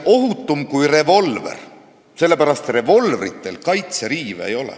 ... ohutum kui revolver, sellepärast et revolvril kaitseriivi ei ole.